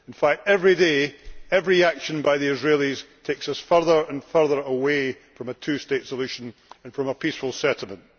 In fact, every day, every action by the Israelis takes us further and further away from a two state solution and from a peaceful settlement.